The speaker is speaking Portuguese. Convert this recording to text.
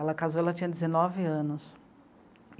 Ela casou, ela tinha dezenove anos.